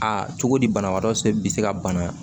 Aa cogo di banabaatɔ bɛ se ka bana